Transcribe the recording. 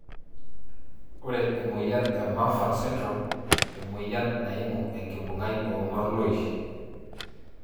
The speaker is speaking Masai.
Ore enamoyian e Marfan syndrome emoyian naimu enkibungai o morloishi.